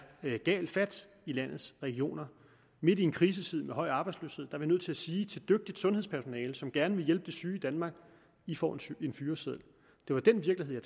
er galt fat i landets regioner midt i en krisetid med høj arbejdsløshed er vi nødt til at sige til dygtigt sundhedspersonale som gerne vil hjælpe de syge i danmark i får en fyreseddel det var den virkelighed